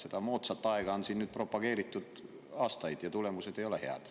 Seda moodsat aega on nüüd propageeritud aastaid ja tulemused ei ole head.